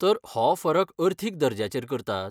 तर, हो फरक अर्थीक दर्ज्याचेर करतात?